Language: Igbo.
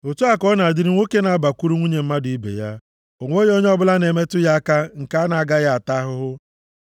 Otu a ka ọ na-adịrị nwoke na-abakwuru nwunye mmadụ ibe ya; o nweghị onye ọbụla na-emetụ ya aka nke a na-agaghị ata ahụhụ.